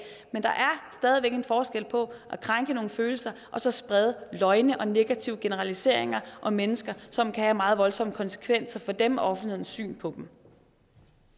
men der er stadig væk en forskel på at krænke nogle følelser og så sprede løgne og negative generaliseringer om mennesker som kan have meget voldsomme konsekvenser for dem og offentlighedens syn på dem